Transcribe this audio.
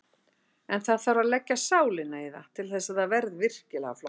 En það þarf að leggja sálina í það til þess að það verði virkilega flott.